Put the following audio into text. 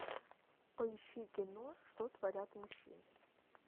поищи кино что творят мужчины